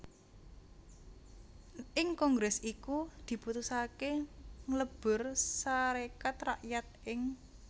Ing kongrès iku diputusaké nglebur Sarékat Rakyat ing